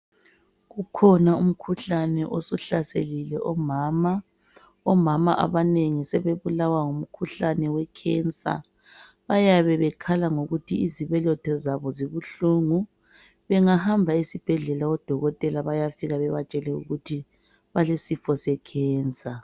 Kukhona umkhuhlane osuhlaselile omama, omama abanengi sebebulawa ngumkhuhlane owekhensa bayabe bekhala ngokuthi izibeletho zabo zibuhlungu. Bengahamba esibhedlela odokotela bayafika bebatshele ukuthi balesifo sekhensa.